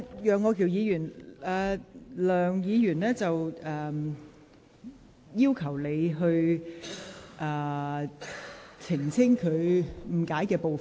楊岳橋議員，梁議員要求你澄清她被誤解的部分。